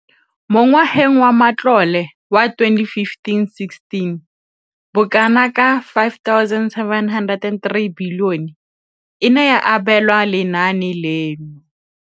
Mo ngwageng wa matlole wa 2015,16, bokanaka R5 703 bilione e ne ya abelwa lenaane leno.